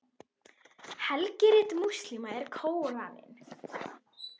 Helgirit múslíma er Kóraninn.